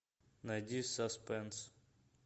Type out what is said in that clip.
найди саспенс